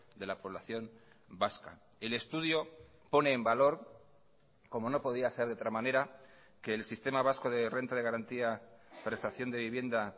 de la población vasca el estudio pone en valor como no podía ser de otra manera que el sistema vasco de renta de garantía prestación de vivienda